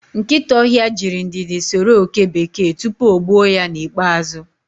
Nkịta ọhịa jirị ndidi soro oke bekee tupu o gbuo ya n'ikpeazụ